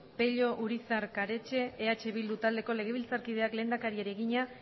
pello urizar karetxe eh bildu taldeko legebiltzarkideak lehendakariari egina